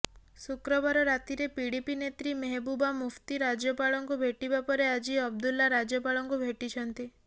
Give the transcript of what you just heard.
ଶୁକ୍ରବାର ରାତିରେ ପିଡିପି ନେତ୍ରୀ ମେହବୁବା ମୁଫ୍ତି ରାଜ୍ୟପାଳଙ୍କୁ ଭେଟିବା ପରେ ଆଜି ଅବଦୁଲ୍ଲା ରାଜ୍ୟପାଳଙ୍କୁ ଭେଟିଛନ୍ତି